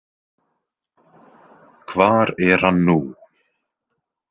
Hvar er hann nú?